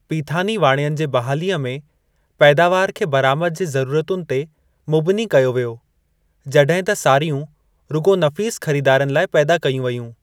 पीथानी वाणियनि जे बहालीअ में पैदावार खे बरामद जे ज़रुरतुनि ते मबनी कयो वियो जॾहिं त सारियूं रुॻो नफ़ीसु ख़रीदारनि लाइ पैदा कयूं वेयूं।